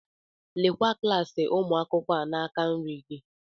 Lekwa klaasị ụmụ akwụkwọ n'aka nri gị.